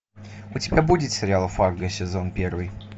у тебя будет сериал фарго сезон первый